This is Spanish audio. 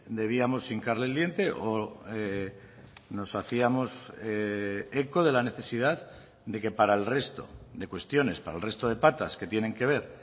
debíamos hincarle el diente o nos hacíamos eco de la necesidad de que para el resto de cuestiones para el resto de patas que tienen que ver